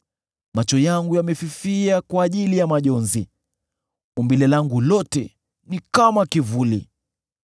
Macho yangu yamefifia kwa ajili ya majonzi; umbile langu lote ni kama kivuli.